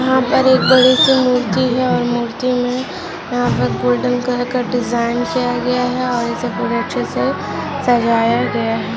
यहाँ पर एक बड़ी सी मूर्ति है और मूर्ति मे यहाँ पर गोल्डन कलर का डिजाइन किया गया है और इसे बड़े अच्छे से सजाया गया है।